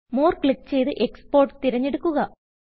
Moreക്ലിക്ക് ചെയ്ത് എക്സ്പോർട്ട് തിരഞ്ഞെടുക്കുക